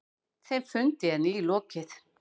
Þeim fundi er nýlokið.